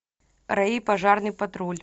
рэй и пожарный патруль